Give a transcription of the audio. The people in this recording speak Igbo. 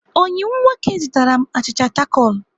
Oyi m nwoke zụtara m achịcha takol.